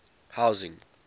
housing